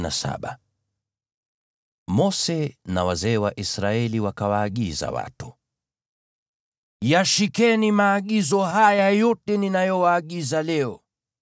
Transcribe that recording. Mose na wazee wa Israeli wakawaagiza watu: “Yashikeni maagizo haya yote ninayowaagiza leo.